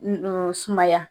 sumaya.